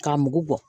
K'a mugu bɔ